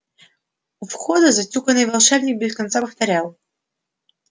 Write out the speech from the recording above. у входа затюканный волшебник без конца повторял